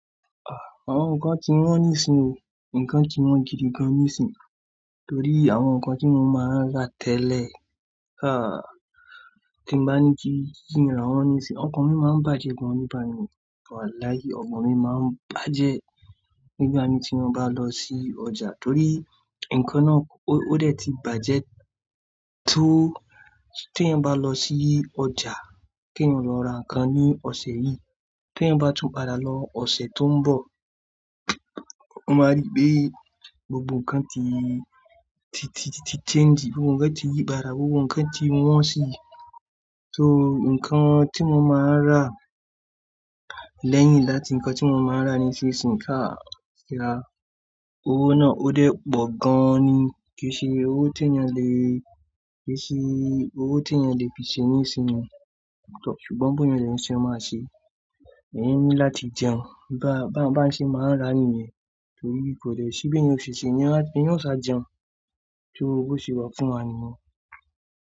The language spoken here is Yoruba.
Àwọn nǹkan ti wọn ní ìsìn o, nǹkan ti wọn jìdí gan ní ìsìn. Torí àwọn nǹkan tí mo máa ń rà tẹ́lẹ̀, ah! Tí mo bá ní kí kí n rán wọn ní ìsìn, ọkàn mi máa ń bàjẹ́ gan nígbà mìí. Wàláì ọkàn mi máa ń bàjẹ́ nígbà mi tí mo bá lọ sí ọjà torí nǹkan náà ó dẹ̀ ti bàjẹ́ tó tí èyàn bá lọ sí ọjà kí èyàn lọ ra nǹkan ní ọ̀sẹ̀ yìí, tí ẹ bá tún padà lọ ọ̀sẹ̀ tó ń bọ̀, o máa rí pé gbogbo nǹkan ti ti ti ti change, gbogbo nǹkan ti yí padà, gbogbo nǹkan ti wọn sì. So nǹkan tí mo máa ń rà lẹ́yìn láti nǹkan tí mo máa ń ra níṣe sì ń ká síra. Owó náà ó dẹ̀ pọ̀ gan ní kí ó ṣe owó tó ènìyàn le, kí ó ṣe owó tó ènìyàn le fi ṣe ní ìsìn wọn. Ṣùgbọ́n bóyá ìrìnṣe máa ṣe, èyí ni láti jẹun. Ba-ba-bá ń ṣe máa ń rà nìyẹn torí kò dẹ̀ sí bí ènìyàn ṣe ṣe ni ẹni yóò sá jẹun tó owó ṣe wà fún wa ni wọ́n.